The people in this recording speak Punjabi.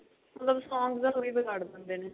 ਮਤਲਬ songs ਦਾ ਹੁਲੀਆ ਬਿਗਾੜ ਦਿੰਦੇ ਨੇ